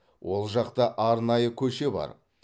ол жақта арнайы көше бар